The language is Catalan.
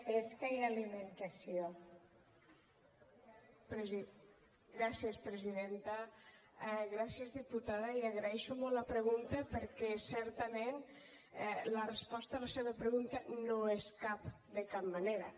gràcies diputada i agraeixo molt la pregunta perquè certament la resposta a la seva pregunta no és cap de cap manera